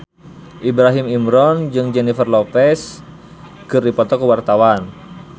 Ibrahim Imran jeung Jennifer Lopez keur dipoto ku wartawan